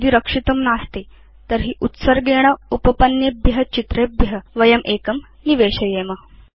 यदि रक्षितं नास्ति तर्हि उत्सर्गेण उपपन्नेभ्य चित्रेभ्य वयम् एकं निवेशयेम